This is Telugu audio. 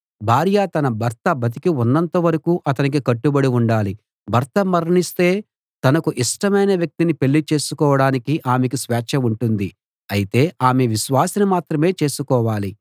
భార్య తన భర్త బతికి ఉన్నంత వరకూ అతనికి కట్టుబడి ఉండాలి భర్త మరణిస్తే తనకు ఇష్టమైన వ్యక్తిని పెళ్ళి చేసుకోడానికి ఆమెకు స్వేచ్ఛ ఉంటుంది అయితే ఆమె విశ్వాసిని మాత్రమే చేసుకోవాలి